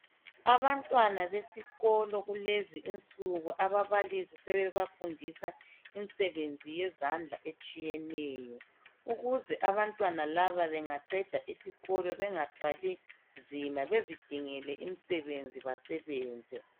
Abantwana besikolo kulezi insuku ababalisi sebeba fundisa imisebenzi yezandla etshiyeneye, ukuze abantwana laba bengaqeda isikolo benga thwali nzima bazi dingele imisebenzi basebenze.